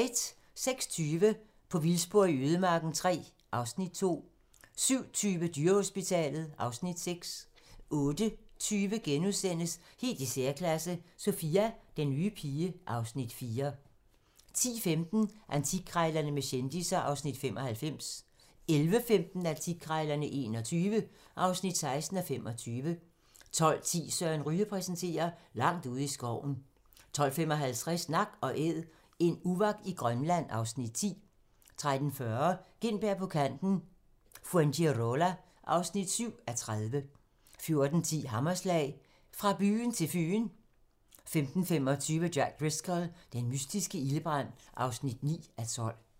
06:20: På vildspor i ødemarken III (Afs. 2) 07:20: Dyrehospitalet (Afs. 6) 08:20: Helt i særklasse - Sophia, den nye pige (Afs. 4)* 10:15: Antikkrejlerne med kendisser (Afs. 95) 11:15: Antikkrejlerne XXI (16:25) 12:10: Søren Ryge præsenterer - Langt ude i skoven 12:55: Nak & Æd - en uvak i Grønland (Afs. 10) 13:40: Gintberg på Kanten - Fuengirola (7:30) 14:10: Hammerslag – Fra byen til Fyn 15:25: Jack Driscoll - den mystiske ildebrand (9:12)